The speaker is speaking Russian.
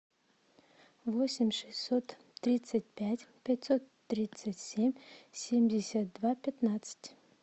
восемь шестьсот тридцать пять пятьсот тридцать семь семьдесят два пятнадцать